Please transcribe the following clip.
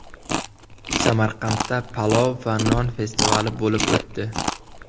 Samarqandda palov va non festivali bo‘lib o‘tdi .